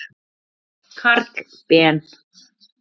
Karl Ben.